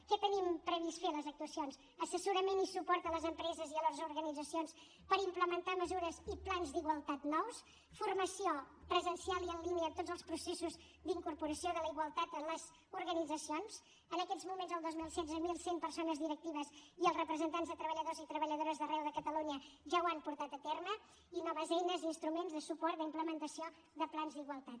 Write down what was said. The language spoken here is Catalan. què tenim previst fer a les actuacions assessorament i suport a les empreses i a les organitzacions per implementar mesures i plans d’igualtat nous formació presencial i en línia en tots els processos d’incorporació de la igualtat en les organitzacions en aquests moments el dos mil setze mil cent persones directives i representants de treballadors i treballadores d’arreu de catalunya ja l’han portat a terme i noves eines i instruments de suport d’implementació de plans d’igualtat